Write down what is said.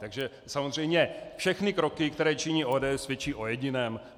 Takže samozřejmě všechny kroky, které činí ODS, svědčí o jediném.